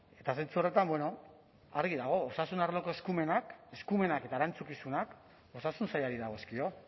eta zentzu horretan bueno argi dago osasun arloko eskumenak eskumenak eta erantzukizunak osasun sailari dagozkio